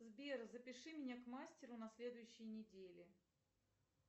сбер запиши меня к мастеру на следующей неделе